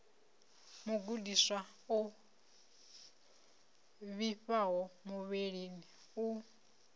mugudiswa o vhifhaho muvhilini u